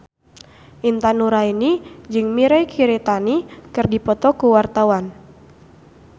Intan Nuraini jeung Mirei Kiritani keur dipoto ku wartawan